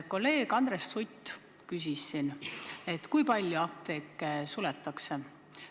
Kolleeg Andres Sutt küsis, kui palju apteeke suletakse.